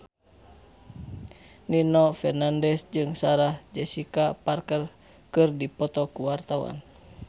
Nino Fernandez jeung Sarah Jessica Parker keur dipoto ku wartawan